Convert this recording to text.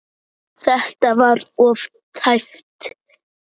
Þetta var of tæpt.